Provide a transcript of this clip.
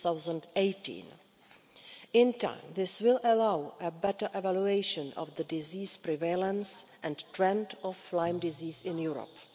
2018. In time, this will allow a better evaluation of the disease prevalence and trend of Lyme disease in Europe.